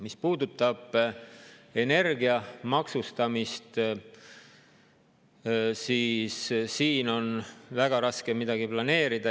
Mis puudutab energia maksustamist, siis siin on väga raske midagi planeerida.